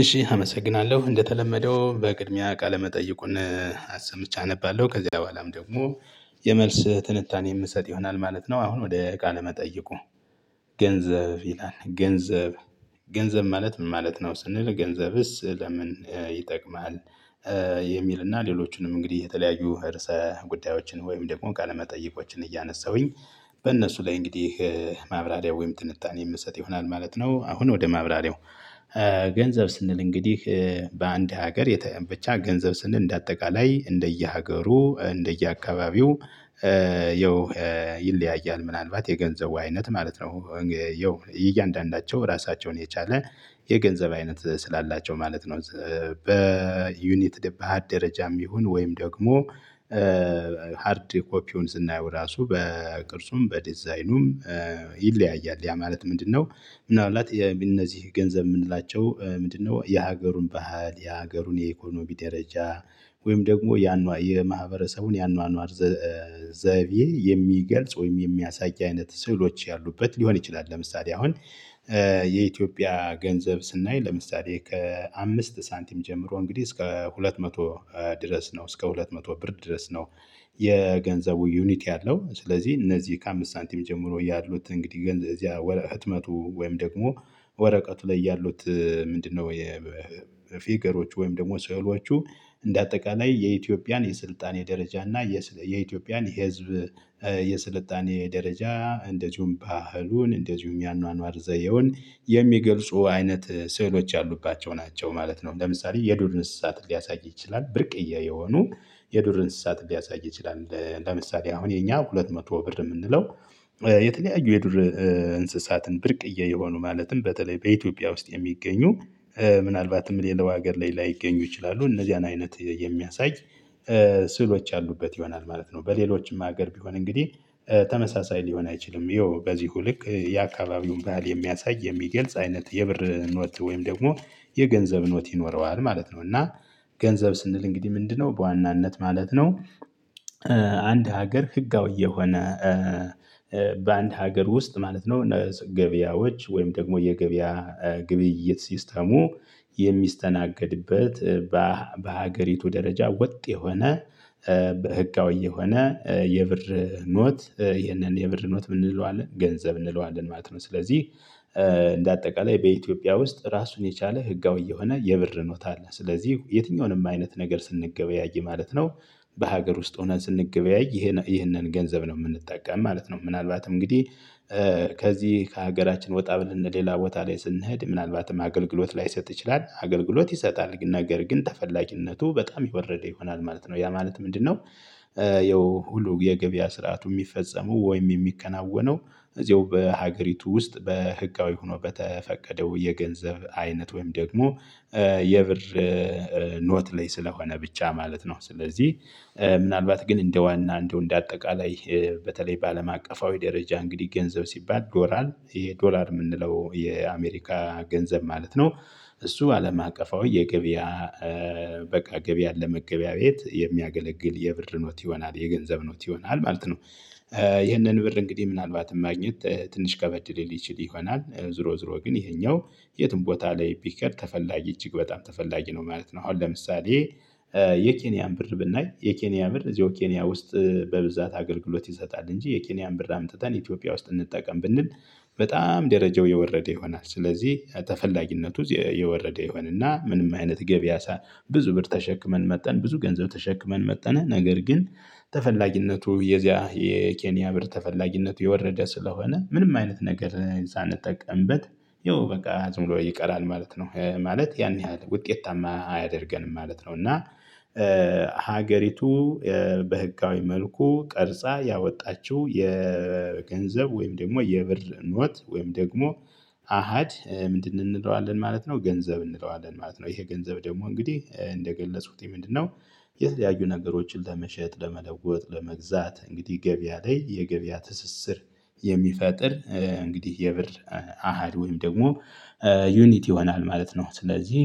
እሺ አመሰግናለሁ እንደተለመደው በቅድሚያ ቃለመጠይቁን አሰምቼ አነባለሁ ከዚያ በኋላም ደግሞ የመልስ ትንታኔ የምሰጥ ይሆናል ማለት ነው። አሁን ወደ ቃለ መጠየቁ? ገንዘብ ይላል ገንዘብ ገንዘብ ማለት ምን ማለት ነው ስንል ገንዘብስ ለምን ይጠቅማል? የሚልና ሌሎቹንም እንግዲህ የተለያዩ ርዕሰ ጉዳዮችን ወይም ደግሞ ቃለ መጠይቆችን እያነሳሁኝ በእነሱ ላይ እንግዲህ ማብራሪያው ወይም ትንታኔ የምሰጥ ይሆናል ማለት ነው። አሁን ወደ ማብራሪያው። ገንዘብ ስንል እንግዲህ በአንድ ሀገር ብቻ ገንዘብ ስንል እንደ አጠቃላይ እንደየሀገሩ እንደየአካባቢው። ይለያያል ምናልባት የገንዘቡ አይነት ማለት ነው። ያው እያንዳንዳቸው ራሳቸውን የቻለ የገንዘብ አይነት ስላላቸው ማለት ነው። በዩኒት በአሀድ ደረጃም ይሁን ወይም ደግሞ ሃርድ ኮፒውን ስናየው ራሱ በቅርጹም በዲዛይኑም ይለያያል። ያ ማለት ምንድነው? ምናልባት እነዚህ ገንዘብ የምንላቸው ምንድነው? የሀገሩን ባህል የሀገሩን የኢኮኖሚ ደረጃ ወይም ደግሞ ያኗ የማህበረሰቡን ያኗኗር ዘይቤ የሚገልጽ ወይም የሚያሳይ አይነት ስዕሎች ያሉበት ሊሆን ይችላል። ለምሳሌ አሁን የኢትዮጵያ ገንዘብ ስናይ ለምሳሌ ከአምስት ሳንቲም ጀምሮ እንግዲህ እስከ ሁለት መቶ ድረስ ነው እስከ ሁለት መቶ ብር ድረስ ነው። የገንዘቡ ዩኒት ያለው ስለዚህ እነዚህ ከአምስት ሳንቲም ጀምሮ ያሉት እንግዲህ ገንዘብ እዚያ ህትመቱ ወይም ደግሞ ወረቀቱ ላይ ያሉት ምንድነው? የፊገሮች ወይም ደግሞ ስዕሎቹ እንደ አጠቃላይ የኢትዮጵያን የስልጣኔ ደረጃ እና የኢትዮጵያን ህዝብ የስልጣኔ ደረጃ እንደዚሁም ባህሉን እንደዚሁም የአኗኗር ዘየውን የሚገልጹ አይነት ስዕሎች ያሉባቸው ናቸው ማለት ነው። ለምሳሌ የዱር እንስሳት ሊያሳይ ይችላል ብርቅዬ የሆኑ የዱር እንስሳት ሊያሳይ ይችላል። ለምሳሌ አሁን የኛ ሁለት መቶ ብር የምንለው የተለያዩ የዱር እንስሳትን ብርቅዬ የሆኑ ማለትም በተለይ በኢትዮጵያ ውስጥ የሚገኙ ምናልባትም ሌላው ሀገር ላይ ላይገኙ ይችላሉ እነዚህን አይነት የሚያሳይ ስሎች ያሉበት ይሆናል። ማለት ነው በሌሎችም ሀገር ቢሆን እንግዲህ ተመሳሳይ ሊሆን አይችልም ይሄው በዚሁ ልክ የአካባቢውን ባህል የሚያሳይ የሚገልጽ አይነት የብር ኖት ወይም ደግሞ የገንዘብ ኖት ይኖረዋል ማለት ነው። እና ገንዘብ ስንል እንግዲህ ምንድነው? በዋናነት ማለት ነው። አንድ ሀገር ህጋዊ የሆነ በአንድ ሀገር ውስጥ ማለት ነው ገበያዎች ወይም ደግሞ የገበያ ግብይት ሲስተሙ የሚስተናገድበት በሀገሪቱ ደረጃ ወጥ የሆነ በህጋዊ የሆነ የብር ኖት ይህንን የብር ኖት ምን እንለዋለን ገንዘብ እንለዋለን ማለት ነው። ስለዚህ እንደ አጠቃላይ በኢትዮጵያ ውስጥ ራሱን የቻለ ህጋዊ የሆነ የብር ኖታ አለ ስለዚህ የትኛውንም አይነት ነገር ስንገበያይ ማለት ነው። በሀገር ውስጥ ሆነን ስንገበያይ ይሄንን ገንዘብ ነው የምንጠቀም ማለት ነው። ምናልባት እንግዲህ ከዚህ ከሀገራችን ወጣ ብለን ሌላ ቦታ ላይ ስንሄድ ምናልባትም አገልግሎት ላይሰጥ ይችላል አገልግሎት ይሰጣል ነገር ግን ተፈላጊነቱ በጣም የወረደ ይሆናል ማለት ነው። ያ ማለት ምንድነው? ይኸው ሁሉ የገበያ ስርዓቱ የሚፈጸመው ወይም የሚከናወነው እዚያው በሀገሪቱ ውስጥ በህጋዊ ሆኖ በተፈቀደው የገንዘብ አይነት ወይም ደግሞ የብር ኖት ላይ ስለሆነ ብቻ ማለት ነው። ስለዚህ ምናልባት ግን እንደ ዋና እንደው እንደ አጠቃላይ በተለይ በአለም አቀፋዊ ደረጃ እንግዲህ ገንዘብ ሲባል ዶላር ይሄ ዶላር የምንለው የአሜሪካ ገንዘብ ማለት ነው። እሱ አለም አቀፋዊ የገበያ በቃ ገበያን ለመገበያየት የሚያገለግል የብር ኖት ይሆናል የገንዘብ ኖት ይሆናል ማለት ነው። ይህንን ብር እንግዲህ ምናልባትም ማግኘት ትንሽ ከበድ ሊል ይችል ይሆናል ዞሮ ዞሮ ግን ይሄኛው የትም ቦታ ላይ ቢሄድ ተፈላጊ እጅግ በጣም ተፈላጊ ነው ማለት ነው። አሁን ለምሳሌ የኬንያን ብር ብናይ የኬንያ ብር እዚሁ ኬንያ ውስጥ በብዛት አገልግሎት ይሰጣል እንጂ የኬንያን ብር አምጥተን ኢትዮጵያ ውስጥ እንጠቀም ብንል በጣም ደረጃው የወረደ ይሆናል። ስለዚህ ተፈላጊነቱ የወረደ ይሆንና ምንም አይነት ገበያ ብዙ ብር ተሸክመን መጠን ብዙ ገንዘብ ተሸክመን መጠነ ነገር ግን ተፈላጊነቱ የዚያ የኬንያ ብር ተፈላጊነቱ የወረደ ስለሆነ ምንም አይነት ነገር ሳንጠቀምበት ይኸው በቃ ዝም ብሎ ይቀራል ማለት ነው። ማለት ያን ያህል ውጤታማ አያደርገንም ማለት ነው። እና ሀገሪቱ በህጋዊ መልኩ ቀርጻ ያወጣችው የገንዘብ ወይም ደግሞ የብር ኖት ወይም ደግሞ አሃድ ምንድን እንለዋለን ማለት ነው። ገንዘብ እንለዋለን ማለት ነው። ይሄ ገንዘብ ደግሞ እንግዲህ እንደገለጽኩት ምንድነው? የተለያዩ ነገሮችን ለመሸጥ ለመለወጥ ለመግዛት እንግዲህ ገበያ ላይ የገበያ ትስስር የሚፈጥር እንግዲህ የብር አሃድ ወይም ደግሞ ዩኒቲ ይሆናል ማለት ነው። ስለዚህ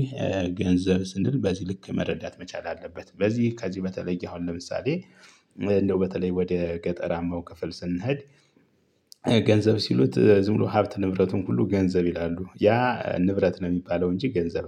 ገንዘብ ስንል በዚህ ልክ መረዳት መቻል አለበት። በዚህ ከዚህ በተለየ አሁን ለምሳሌ እንደው በተለይ ወደ ገጠራማው ክፍል ስንሄድ ገንዘብ ሲሉት ዝም ብሎ ሀብት ንብረቱን ሁሉ ገንዘብ ይላሉ ያ ንብረት ነው የሚባለው እንጂ ገንዘብ